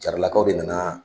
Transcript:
Jaralakaw de nana